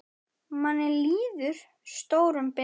Manni líður stórum betur.